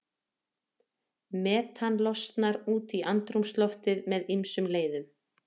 Metan losnar út í andrúmsloftið með ýmsum leiðum.